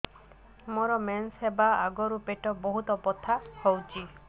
ମୋର ମେନ୍ସେସ ହବା ଆଗରୁ ପେଟ ବହୁତ ବଥା ହଉଚି